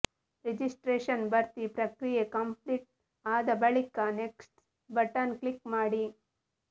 registration ಭರ್ತಿ ಪ್ರಕ್ರಿಯೆ complete ಆದ ಬಳಿಕ ನೆಕ್ಸ್ಟ್ ಬಟನ್ ಕ್ಲಿಕ್ ಮಾಡಿ